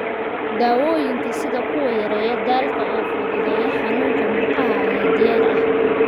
Daawooyinka, sida kuwa yareeya daalka oo fududeeya xanuunka murqaha ayaa diyaar ah.